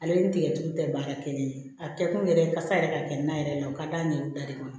Ale ni tigɛtulu tɛ baara kɛ ni ye a kɛ kun yɛrɛ ye kasa yɛrɛ ka kɛ nan yɛrɛ ye o ka d'a ɲɛw da de kama